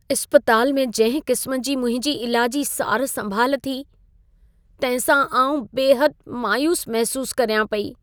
इस्पताल में जंहिं क़िस्म जी मुंहिंजी इलाजी सार संभाल थी, तंहिं सां आउं बेहदि मायूसु महिसूसु करियां पेई।